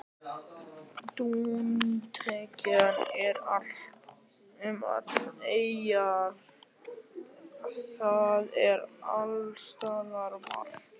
Dúntekjan er um allar eyjar, það er alls staðar varp.